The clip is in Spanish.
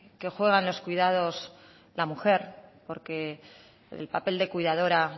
que juegan en los cuidados al mujer porque el papel de cuidadora